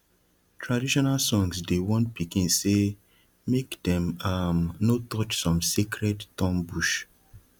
traditional songs dey warn pikin say make dem um no touch some sacred thorn bush